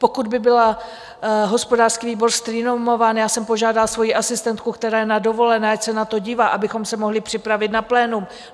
Pokud by byl hospodářský výbor streamován, já jsem požádala svoji asistentku, která je na dovolené, ať se na to dívá, abychom se mohly připravit na plénum.